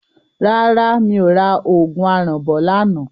Rárá mi ò ra òògùn aràn bọ̀ lánàá.